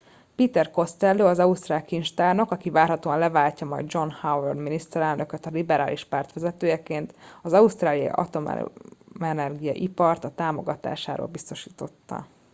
peter costello az ausztrál kincstárnok aki várhatóan leváltja majd john howard miniszterelnököta liberális párt vezetőjeként az ausztráliai atomenergia ipart a támogatásáról biztosította